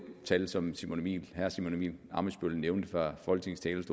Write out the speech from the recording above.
tal som herre simon emil ammitzbøll nævnte fra folketingets